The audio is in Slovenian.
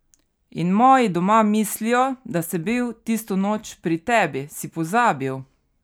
In moji doma mislijo, da sem bil tisto noč pri tebi, si pozabil?